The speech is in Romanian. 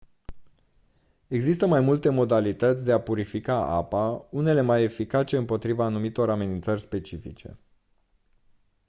există mai multe modalități de a purifica apa unele mai eficace împotriva anumitor amenințări specifice